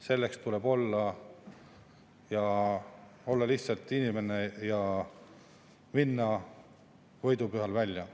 Selleks tuleb olla lihtsalt inimene ja minna võidupühal välja.